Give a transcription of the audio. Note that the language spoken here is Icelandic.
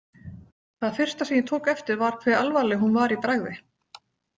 Það fyrsta sem ég tók eftir var hve alvarleg hún var í bragði.